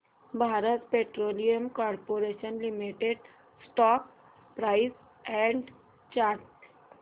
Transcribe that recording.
Bharat petroleum corporation limited stock price and chart